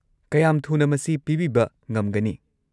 ꯀꯌꯥꯝ ꯊꯨꯅ ꯃꯁꯤ ꯄꯤꯕꯤꯕ ꯉꯝꯒꯅꯤ?